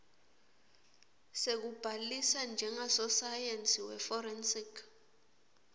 sekubhalisa njengasosayensi weforensic